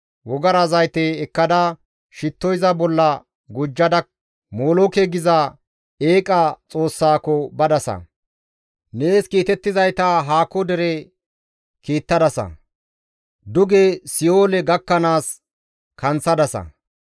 Wogara zayte ekkada, shitto iza bolla gujjada Molooke geetettiza eeqa xoossaako badasa; nees kiitettizayta haako dere kiittadasa; duge si7oole gakkanaas kanththadasa.